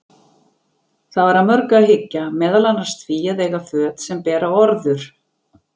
Það var að mörgu að hyggja, meðal annars því að eiga föt sem bera orður.